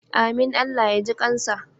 Amin Allah ya ji kansa.